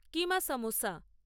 কিমা samosa